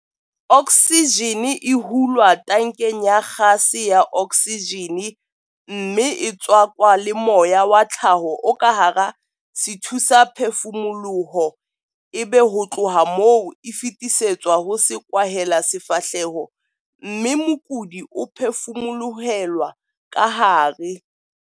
Oksijene e hulwa tankeng ya gase ya oksijene mme e tswakwa le moya wa tlhaho o ka hara sethusaphefumoloho ebe ho tloha moo e fetisetswa ho sekwahelasefahleho mme mokudi o e phefumolohelwa kahare.